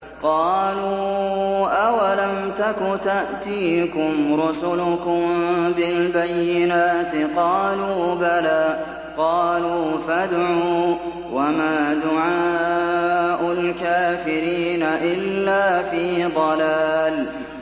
قَالُوا أَوَلَمْ تَكُ تَأْتِيكُمْ رُسُلُكُم بِالْبَيِّنَاتِ ۖ قَالُوا بَلَىٰ ۚ قَالُوا فَادْعُوا ۗ وَمَا دُعَاءُ الْكَافِرِينَ إِلَّا فِي ضَلَالٍ